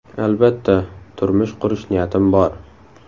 Albatta, turmush qurish niyatim bor.